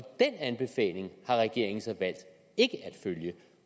den anbefaling har regeringen så valgt ikke at følge